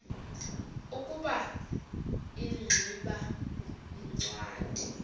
ukuba ingximba yincwadi